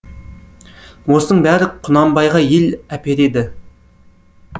осының бәрі құнанбайға ел әпереді